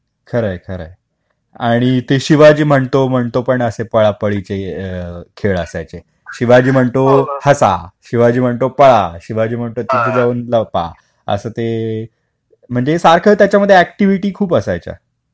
खरंय खरंय. आणि ते शिवाजी म्हणतो म्हणतो पण असे पळापळीचे खेळ असायचे. शिवाजी म्हणतो हसा, शिवाजी म्हणतो पळा, शिवाजी म्हणतो तिथे जाऊन लपा. असं ते म्हणजे सारखं त्याच्यामध्ये अॅक्टिव्हिटी खूप असायच्या.